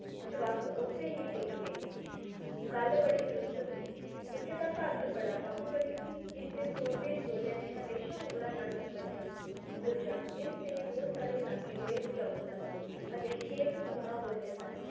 ਵੱਸ ਉੱਥੇ ਹੀ ਤੀਕ ਗਏ ਗੱਲ ਬੜੀ ਦਰੁਸਤ ਸੀ ਇੱਕ ਤਾਂ ਭਾਰਤ ਬੜਾ ਬਾਹੂਬਲੀ ਸੀ ਜਿਸਦੇ ਸੂਰਮੇਂ ਯੋਧਿਆਂ ਨੇ ਹਮੇਸ਼ਾਂ ਮੁਗਲਾਂ ਨਾਲ ਟੱਕਰ ਲਈ ਦੂਜਾ ਇਸਦੇ ਬਹੁਤ ਸਾਰੇ ਇਲਾਕੇ ਬੜੇ ਉਪਜਾਊ ਸਨ ਅਤੇ ਖੇਤ ਸੋਨਾ ਉਗਲਦੇ ਸਨ